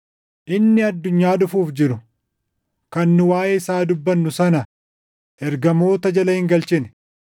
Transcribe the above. Inni addunyaa dhufuuf jiru, kan nu waaʼee isaa dubbannu sana ergamoota jala hin galchine.